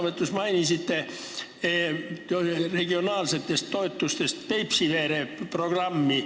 Te mainisite oma sõnavõtus regionaalsetest toetustest Peipsiveere programmi.